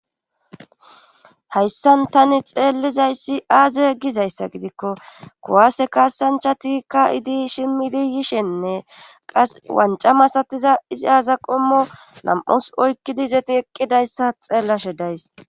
Hayssan tani xeellizayssi aaze egizayssa gidikko kowaase kaasancha tikka idi shimmidi yishenne qas wanca masatiza izi aaza qommo lam7us oykkidi zeti eqqidayssa xeellashe days.